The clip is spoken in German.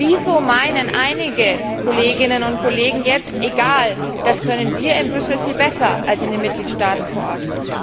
Wieso meinen einige Kolleginnen und Kollegen jetzt Egal, das können wir in Brüssel viel besser als in den Mitgliedstaaten vor Ort